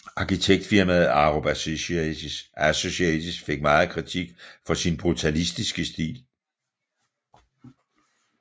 Arkitektfirmaet Arup Associates fik meget kritik for sin brutalistiske stil